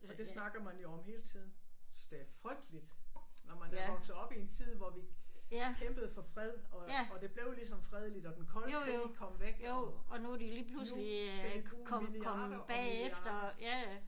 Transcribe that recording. Og det snakker man jo om hele tiden. Synes det er frygteligt når man er vokset op i en tid hvor vi kæmpede for fred og og det blev ligesom fredeligt og den kolde krig kom væk og nu skal vi bruge milliarder og milliarder